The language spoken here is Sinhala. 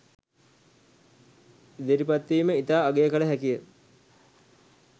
ඉදිරිපත්වීම ඉතා අගය කළ හැකිය.